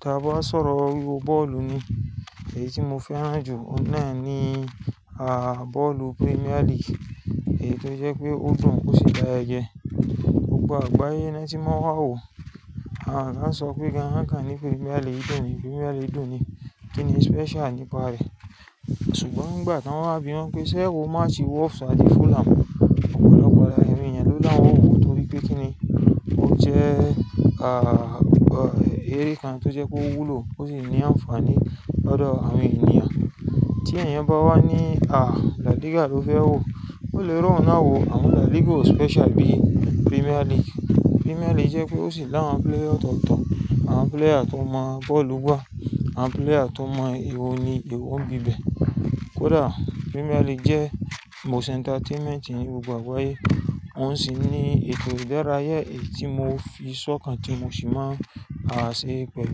Ta ba sọ̀rọ̀ wíwo bọ́ọ̀lù ni, èyí tí mo fẹ́ràn jù oun náà ni, ah, bọ́ọ̀lù Premier League. Èyí tó jẹ́ pé ó dùn ó sì dayajẹ. Gbogbò àgbáyé na ti maa wa n wo won sọ pé gan-an, won kàn ní Premier League dùn ni, Premier League dùn ni. Kí ni special nípa rẹ̀? Ṣùgbọ́n nígbà tí wọ́n wá bí wọ́n pé ṣé o máa ti wo Watford àti Fulham, òpòlọ́pọ̀ lára ẹ̀yin yẹn ló dá wọn wò torí pé kí ni, ó jẹ́, ah, eré kan tó jẹ́ pé ó wúlò ó sì ní àǹfààní lodo àwọn ènìyàn. Tí ẹ̀yin bá wá ní, ah, La Liga ló fẹ́ wò, o le ró oun náà wò, àmọ́ La Liga o special bí Premier League. Premier League jẹ́ pé ó sì làwọn player ọ̀tọ̀ọ̀tọ̀, àwọn player tó mọ bọ́ọ̀lù gbà, àwọn player tó mọ ewo ni ewo ń bibe. Kódà Premier League jẹ́ most entertainment ní gbogbo àgbáyé. Oun sì ní ètò ìdárayá èyí tí mo fi sọ́kàn tí mo sì máa á ṣe pẹ̀lú.